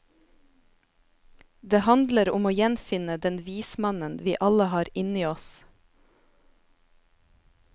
Det handler om å gjenfinne den vismannen vi alle har inni oss.